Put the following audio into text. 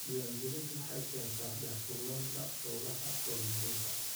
Diiwaangelintu waxay keentaa daahfurnaanta hawlaha horumarinta.